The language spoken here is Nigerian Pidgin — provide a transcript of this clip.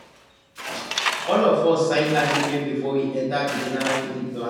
all of us sign agreement before we enter the general feeding plan